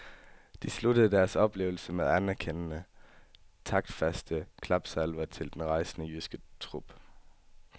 De sluttede deres oplevelse med anerkendende, taktfaste klapsalver til den rejsende jyske trup.